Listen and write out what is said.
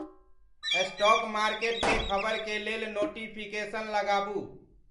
stock market के खबर के लेल नोटिफिकेशन लगाबू